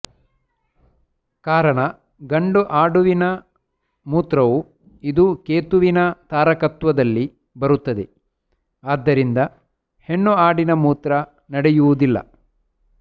ಕಾರಣ ಗಂಡು ಆಡುವಿನ ಮೂತ್ರವು ಇದು ಕೇತುವಿನ ತಾರಕತ್ವದಲ್ಲಿ ಬರುತ್ತದೆ ಆದ್ದರಿಂದ ಹೆಣ್ಣು ಆಡಿನ ಮೂತ್ರ ನಡೆಯುವುದಿಲ್ಲ